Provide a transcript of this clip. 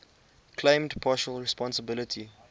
claimed partial responsibility